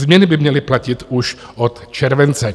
Změny by měly platit už od července.